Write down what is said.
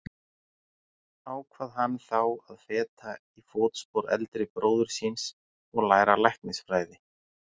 Ákvað hann þá að feta í fótspor eldri bróður síns og læra læknisfræði.